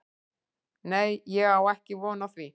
Nei ég á ekki von á því.